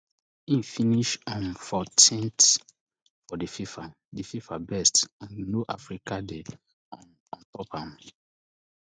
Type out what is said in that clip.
in finish um fourteenth for di fifa di fifa best and no african dey um ontop am